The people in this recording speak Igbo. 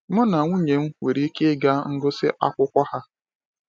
Mụ na nwunye m nwere ike ịga ngụsị akwụkwọ ha.